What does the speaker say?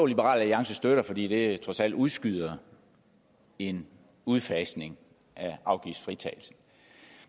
liberal alliance støtter fordi det trods alt udskyder en udfasning af afgiftsfritagelsen